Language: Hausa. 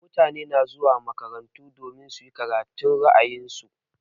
Mutane na zuwa makarantu domin su yi karatun ra'ayin su.